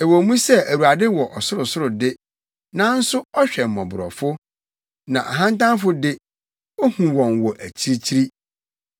Ɛwɔ mu sɛ Awurade wɔ ɔsorosoro de, nanso ɔhwɛ mmɔborɔfo, na ahantanfo de, ohu wɔn wɔ akyirikyiri.